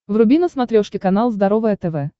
вруби на смотрешке канал здоровое тв